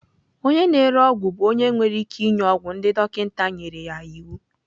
Onye na-ere ọgwụ bụ onye nwere ike ịnye ọgwụ ndị dọkịta nyere ya iwu.